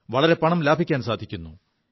വളരെയധികം പണം ലാഭിക്കാൻ സാധിക്കുു